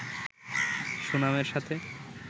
সুনামের সাথে